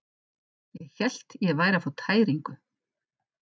Ég hélt ég væri að fá tæringu.